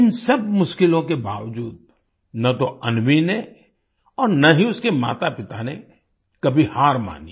इन सब मुश्किलों के बावजूद न तो अन्वीने और न ही उसके मातापिता ने कभी हार मानी